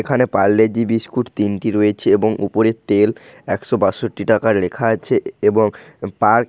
এখানে Parle G biscuit তিনটি রয়েছে এবং উপরের তেল একশত বাষট্টি টাকার লেখা আছে। এবং পার্ক --